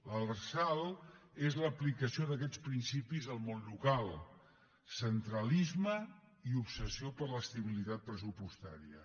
l’lrsal és l’aplicació d’aquests principis al món local centralisme i obsessió per l’estabilitat pressupostària